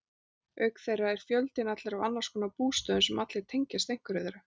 Auk þeirra er fjöldinn allur af annarskonar bústöðum sem allir tengjast einhverju þeirra.